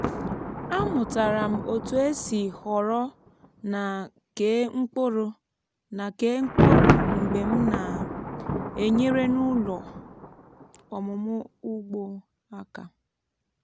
amụtara m otu esi họrọ na kee mkpụrụ na kee mkpụrụ mgbe m na-enyere n’ụlọ ọmụmụ ugbo aka.